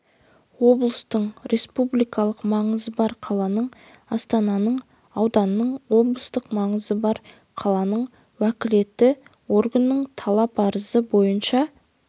облыстың республикалық маңызы бар қаланың астананың ауданның облыстық маңызы бар қаланың уәкілетті органының талап-арызы бойынша